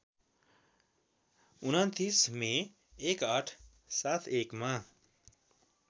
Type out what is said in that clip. २९ May १८७१ मा